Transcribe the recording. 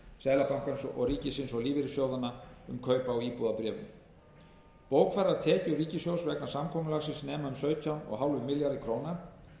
seðlabankans ríkisins og lífeyrissjóðanna um kaup á íbúðabréfum bókfærðar tekjur ríkissjóðs vegna samkomulagsins nema um sautján komma fimm milljörðum króna